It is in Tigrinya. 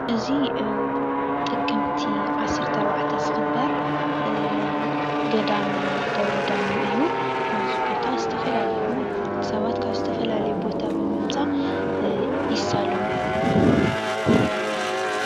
እዚ ጥቅምቲ 14 ዝክበር ገዳም ደብረዳሞ እዩ:: ናብዚ ቦታ ዝተፈላለዩ ሰባት ካብ ዝተፈላለዩ ቦታታት ብምምፃእ ይሳለሙ።